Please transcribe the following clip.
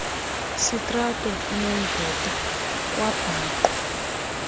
sitrato inomvete kwabhaqwa